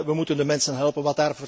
We moeten de mensen helpen.